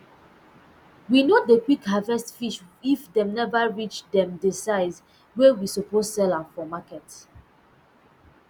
we no dey quick harvest fish if dem never reach um d size wey we suppose sell am for market